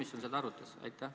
Kas komisjon seda arutas?